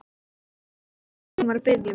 Hann skildi strax hvað hún var að biðja um.